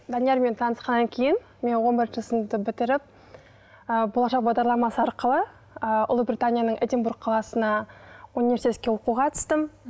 даниярмен танысқаннан кейін мен он бірінші сыныпты бітіріп ы болашақ бағдарламасы арқылы ы ұлыбританияның эдинбург қаласына университетке оқуға түстім